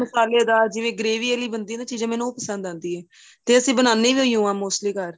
ਮਸ਼ਾਲੇਦਾਰ ਜਿਵੇਂ gravy ਆਲੀ ਬਣਦੀ ਏ ਨਾ ਚੀਜ਼ਾਂ ਮੈਂਨੂੰ ਉਹ ਪਸੰਦ ਆਦੀ ਏ ਤੇ ਅਸੀਂ ਬਣਾਦੇ ਵੀ ਉਹੀ ਹਾਂ mostly ਘਰ